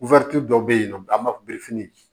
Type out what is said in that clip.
dɔw bɛ yen nɔ an b'a fɔ